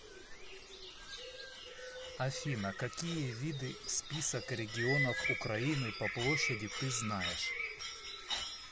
афина какие виды список регионов украины по площади ты знаешь